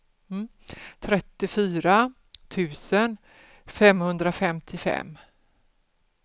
trettiofyra tusen femhundrafemtiofem